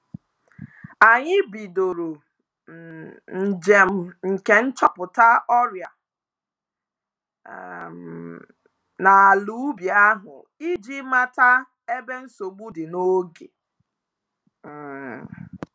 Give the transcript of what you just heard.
Anyị bidoro um njem nke nchọpụta ọrịa um n'alaubi ahụ iji mata ebe nsogbu dị n'oge um.